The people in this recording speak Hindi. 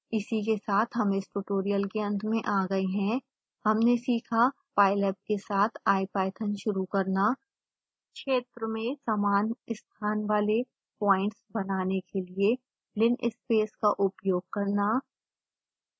इसी के साथ हम इस ट्यूटोरियल के अंत में आ गए हैं हमने सीखा